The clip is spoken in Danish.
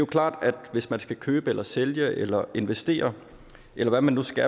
klart at hvis man skal købe eller sælge eller investere eller hvad man nu skal